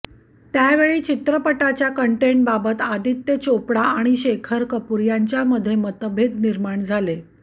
त्यावेळी चित्रपटाच्या कंटेंटबाबत आदित्य चोपडा आणि शेखर कपूर यांच्यामध्ये मतभेत निर्माण झाले